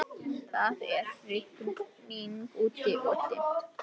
Það er rigning úti-og dimmt.